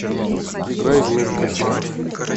играй из моих кошмаров